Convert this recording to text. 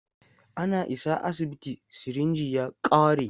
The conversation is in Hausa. Ana isa asibiti, sirinji ya ƙare.